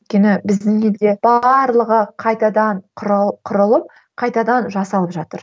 өйткені біздің елде барлығы қайтадан құрылып қайтадан жасалып жатыр